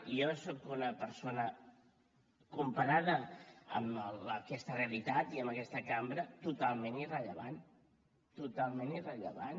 jo soc una persona comparada amb aquesta realitat i amb aquesta cambra totalment irrellevant totalment irrellevant